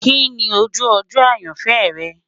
Kini oju ojo ayanfẹ rẹ?